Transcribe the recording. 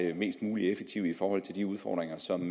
er mest mulig effektiv i forhold til de udfordringer som